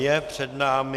Je před námi...